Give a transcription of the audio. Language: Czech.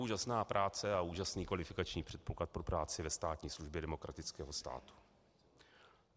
Úžasná práce a úžasný kvalifikační předpoklad pro práci ve státní službě demokratického státu!